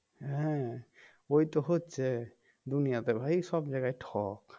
হ্যাঁ ওই তো হচ্ছে দুনিয়াতে ভাই সব জায়গায় ঠক